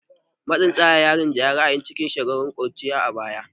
Matsin tsara ya rinjayi ra'ayi da shawara a cikin shekarun ƙuruciya na yara a baya